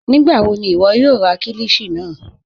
Nígbàwọ̀ ni iwọ̀ yóò rà kílíshì náà?